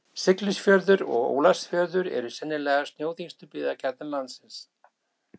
Siglufjörður og Ólafsfjörður eru sennilega snjóþyngstu byggðakjarnar landsins.